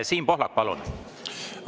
Siim Pohlak, palun!